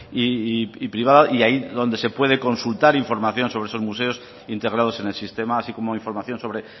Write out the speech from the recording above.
y privada y ahí donde se puede consultar información sobre esos museos integrados en el sistema así como información sobre